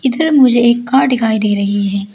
इधर मुझे एक कार दिखाई दे रही है।